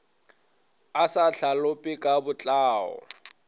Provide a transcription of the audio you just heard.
a sa hlalope ka botlao